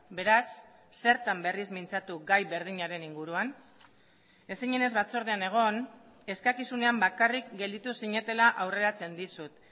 beraz zertan berriz mintzatu gai berdinaren inguruan ez zinenez batzordean egon eskakizunean bakarrik gelditu zinetela aurreratzen dizut